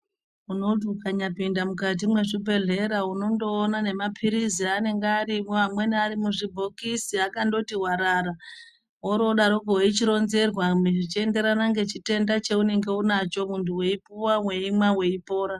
Unoti ukanya pinda mukati mwe zvibhedhlera unondoona ne mapirizi anonga arimwo amweni ari mu zvibhokisi akangoti warara wori wodarako weichi ronzerwa zvechi enderana ne chitenda chaunenge unacho muntu wei puwa weimwa weipora.